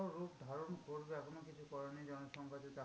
রূপ ধারণ করবে এখনো কিছু করেনি। জনসংখ্যার যে চাপ